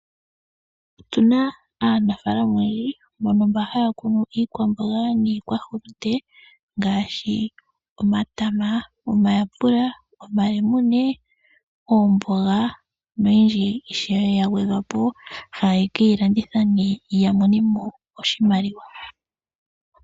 Otu na aanafalama oyendji mboka haya kunu iikwaamboga niikwahulunde ngaashi omatama, omayapula, omalemune, omboga noyindji ya gwedhwa po ishewe, haya ke yi landitha ya mone mo oshimaliwa.